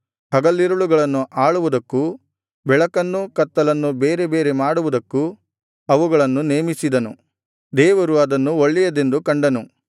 ಹಗಲಿರುಳುಗಳನ್ನು ಆಳುವುದಕ್ಕೂ ಬೆಳಕನ್ನು ಕತ್ತಲನ್ನು ಬೇರೆ ಬೇರೆ ಮಾಡುವುದಕ್ಕೂ ಅವುಗಳನ್ನು ನೇಮಿಸಿದನು ದೇವರು ಅದನ್ನು ಒಳ್ಳೆಯದೆಂದು ಕಂಡನು